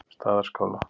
Staðarskála